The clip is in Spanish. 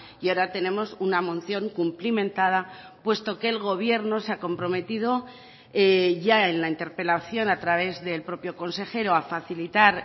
y ahora tenemos una moción cumplimentada puesto que el gobierno se ha comprometido ya en la interpelación a través del propio consejero a facilitar